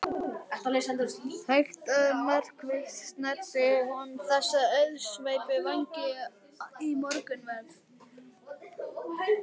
Hægt og markvisst snæddi hún þessa auðsveipu vængi í morgunverð.